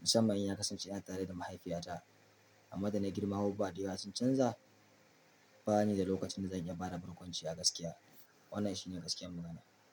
musamman in ya kasance yana tare da mahaifiyata. Amma da na girma abubuwa ayawa sun canza, ba ni da lokacin da zan iya ba da barkwanci a gaskiya. Wannan shi ne gaskiyar magana.